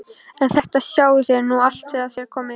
En þetta sjáið þér nú allt þegar þér komið.